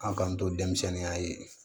An k'an to denmisɛnninya ye